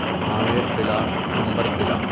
آمیر قلعہ عنبر قلعہ